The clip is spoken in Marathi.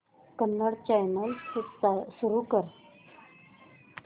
कन्नड चॅनल सुरू कर